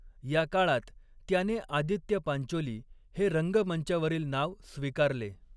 या काळात, त्याने आदित्य पांचोली हे रंगमंचावरील नाव स्वीकारले.